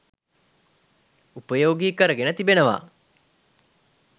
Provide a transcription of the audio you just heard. උපයෝගී කරගෙන තිබෙනවා.